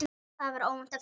Það var óvænt flétta.